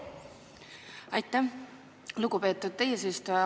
Aitäh, lugupeetud eesistuja!